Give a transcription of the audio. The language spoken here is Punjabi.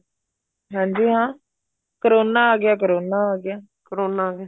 ਹਾਂਜੀ ਹਾਂ ਕਰੋਨਾ ਆ ਗਿਆ ਕਰੋਨਾ ਆ ਗਿਆ ਕਰੋਨਾ ਆਗਿਆ